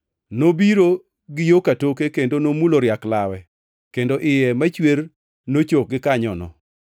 Nobiro gi yo katoke kendo nomulo riak lawe, kendo iye machwer nochok gikanyono.